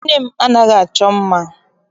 Nne m anaghị achọ mma.